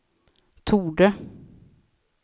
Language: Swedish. torde